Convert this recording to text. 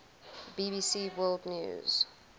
bbc world news